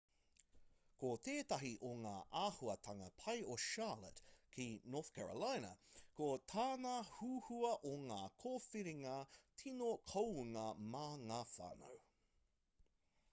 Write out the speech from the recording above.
ko tētahi o ngā āhuatanga pai o charlotte ki north carolina ko tana huhua o ngā kōwhiringa tino kounga mā ngā whānau